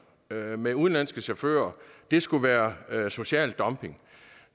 med med udenlandske chauffører skulle være social dumping